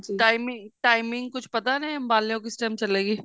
timing timing ਕੁੱਛ ਪਤਾ ਨੇ ਅੰਬਾਲਿਓ ਕਿਸ time ਚੱਲੇਗੀ